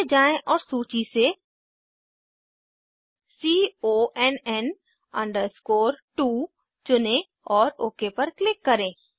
नीचे जाएँ और सूची से CONN 2 चुनें और ओक पर क्लिक करें